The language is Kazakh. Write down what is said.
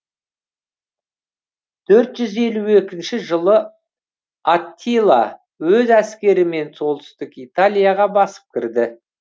төрт жүз елу екінші жылы аттила өз әскерімен солтүстік италияға басып кіреді